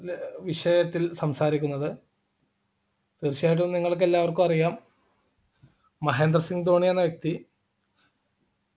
ൽ ഏർ വിഷയത്തിൽ സംസാരിക്കുന്നത് തീർച്ചയായിട്ടും നിങ്ങൾക്കെല്ലാവർക്കും അറിയാം മഹേന്ദ്ര സിംഗ് ധോണി എന്ന വ്യക്തി